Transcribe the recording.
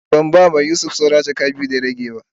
Ban ba ma Yusuf sawran jaka biyu da rabi da ya rage be.